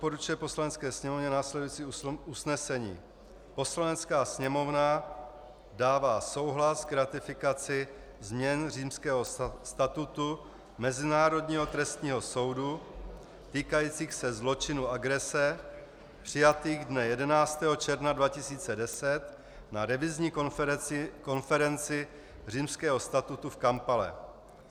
Poslanecké sněmovně následující usnesení: "Poslanecká sněmovna dává souhlas k ratifikaci změn Římského statutu Mezinárodního trestního soudu týkajících se zločinu agrese přijatých dne 11. června 2010 na Revizní konferenci Římského statutu v Kampale."